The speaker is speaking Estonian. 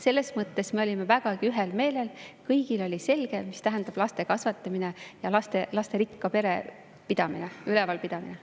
Selles mõttes me olime vägagi ühel meelel, kõigile oli selge, mida tähendab laste kasvatamine ja lasterikka pere ülevalpidamine.